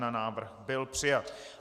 Návrh byl přijat.